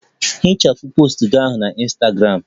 Hichapụ post gị ahụ na Ịnstagramụ!